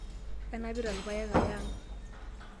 Anapita ilpayek aya ang'.